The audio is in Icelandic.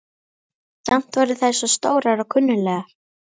Samt voru þær svo stórar og klunnalegar.